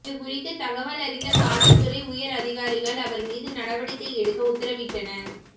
இது குறித்து தகவல் அறிந்த காவல்துறை உயர் அதிகாரிகள் அவர் மீது நடவடிக்கை எடுக்க உத்தரவிட்டனர்